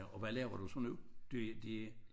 Og hvad laver du så nu du det